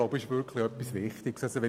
Es ist ein wichtiges Thema.